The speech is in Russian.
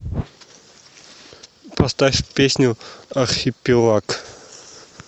поставь песню архипелаг